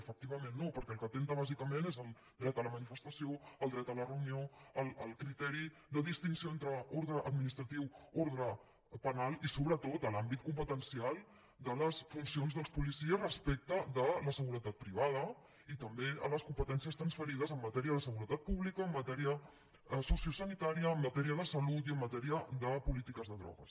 efectivament no perquè el que atempta bàsicament és contra el dret a la manifestació el dret a la reunió el criteri de distinció entre ordre administratiu ordre penal i sobretot contra l’àmbit competencial de les funcions dels policies respecte de la seguretat privada i també contra les competències transferides en matèria de seguretat pública en matèria sociosanitària en matèria de salut i en matèria de polítiques de drogues